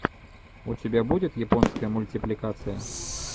у тебя будет японская мультипликация